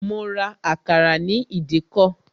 Mo ra àkàrà ní ìdíkọ̀